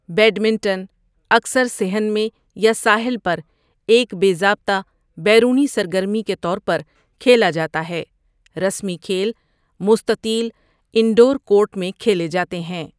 Badminton اکثر صحن میں یا ساحل پر ایک بے ضابطہ بیرونی سرگرمی کے طور پر کھیلا جاتا ہے، رسمی کھیل مستطیل انڈور کورٹ میں کھیلے جاتے ہیں۔